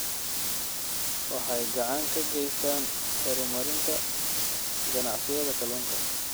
Waxay gacan ka geystaan ??horumarinta ganacsiyada kalluunka.